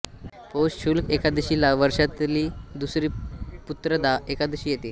पौष शुक्ल एकादशीला वर्षातली दुसरी पुत्रदा एकादशी येते